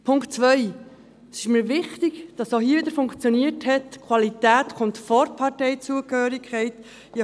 Zur zweiten Wahl: Es ist mir wichtig, dass es auch hier wieder funktioniert hat, dass die Qualität vor der Parteizugehörigkeit kommt.